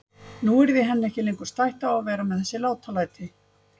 Nú yrði henni ekki lengur stætt á að vera með þessi látalæti.